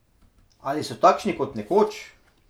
Ali so takšni kot nekoč?